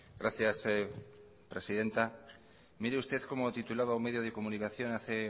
gracias presidenta mire usted como titulaba un medio de comunicación hace